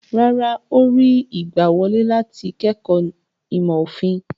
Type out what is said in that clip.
Rárá, ó rí ìgbàwọlé láti kẹ́kọ̀ọ́ ìmọ̀-òfin.